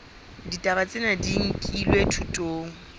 ditaba tsena di nkilwe thutong